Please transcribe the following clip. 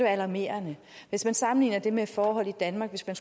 alarmerende hvis man sammenlignede det med forhold i danmark hvis man